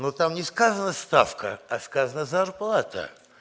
ну там не сказано ставка а сказано зарплата